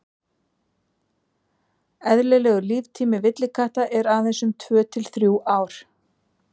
eðlilegur líftími villikatta er aðeins um tvö til þrjú ár